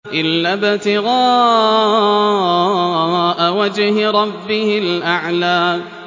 إِلَّا ابْتِغَاءَ وَجْهِ رَبِّهِ الْأَعْلَىٰ